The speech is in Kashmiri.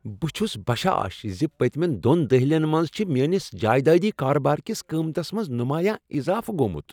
بہٕ چُھس بشاش ز پٔتۍمین دۄن دہلیٚن منٛز چھ میٲنس جایدٲدی كاربار كِس قیمتس منز نمایاں اضافہٕ گومُت ۔